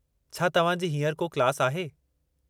छा तव्हां जी हींअर को क्लास आहे?